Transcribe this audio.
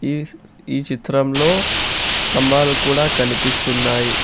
Is ఈ చిత్రంలో స్తంభాలు కూడా కనిపిస్తున్నాయి.